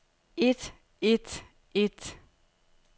et et et